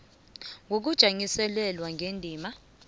a ngokujanyiselelwa ngendima